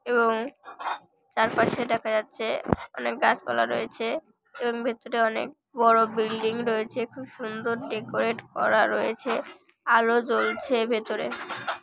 এবং চারপাশে দেখা যাচ্ছে-এ অনেক গাছপালা রয়েছে -এ এবং ভিতরে অনেক বড় বিল্ডিং রয়েছে খুব সুন্দর ডেকোরেট করা রয়েছে আলো জ্বলছে ভেতরে-এ ।